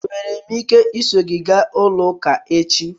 Enwere m ike iso gị gaa ụka echi?